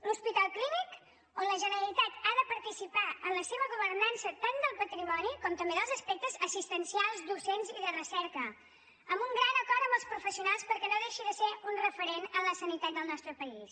l’hospital clínic on la generalitat ha de participar en la seva governança tant del patrimoni com també dels aspectes assistencials docents i de recerca amb un gran acord amb els professionals perquè no deixi de ser un referent en la sanitat del nostre país